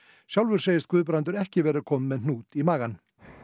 sjálfur segist Guðbrandur ekki vera komin með hnút í magann